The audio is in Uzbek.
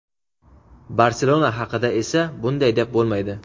"Barselona" haqida esa bunday deb bo‘lmaydi.